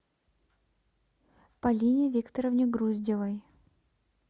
полине викторовне груздевой